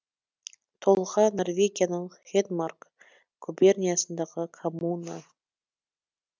толға норвегияның хедмарк губерниясындағы коммуна